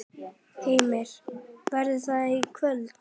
Heimir: Verður það í kvöld?